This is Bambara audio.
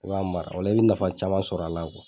U b'a mara o la i bɛ nafa caman sɔrɔ a la